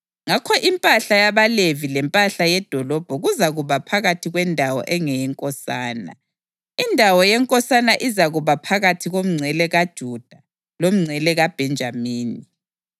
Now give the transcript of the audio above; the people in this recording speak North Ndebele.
Ngakho impahla yabaLevi lempahla yedolobho kuzakuba phakathi kwendawo engeyenkosana. Indawo yenkosana izakuba phakathi komngcele kaJuda lomngcele kaBhenjamini.